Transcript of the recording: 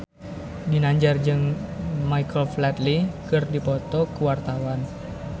Ginanjar jeung Michael Flatley keur dipoto ku wartawan